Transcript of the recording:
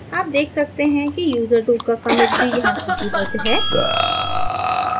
आप देख सकते हैं कि user2 का commit भी यहाँ सूचीबद्ध है